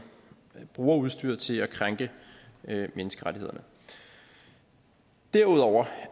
bruger udstyret til at krænke menneskerettighederne derudover